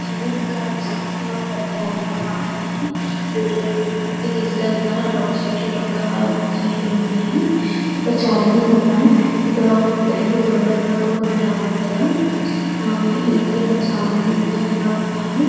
ఈ పిక్చర్ లో ఏం కనిపిస్తుంది అంటే ఇది ఒక పెద్ద రధం అన్నమాట దీన్ని ఊరేగింపుకి తీసుకెళ్తున్నారు అటొక చెట్టు ఇటుక చెట్లు ఉన్నాయి ఇక్కడ చాలామంది ఉన్నాయి ఇక్కడ ఒక రెండు గుర్రాలు లాగా కూడ ఉన్న రథం మీద ఆ ఇంకా ఇక్కడ చాలామంది అనేవాళ్ళు ఉన్నారు.